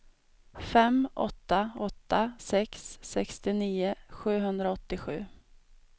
fem åtta åtta sex sextionio sjuhundraåttiosju